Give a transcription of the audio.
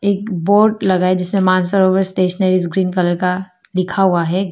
Board लगा है जिस पर मानसरोवर स्टेशनरी ग्रीन कलर का लिखा हुआ है।